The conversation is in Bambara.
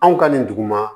Anw ka nin duguma